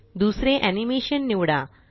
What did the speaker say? दुसरे एनीमेशन निवडा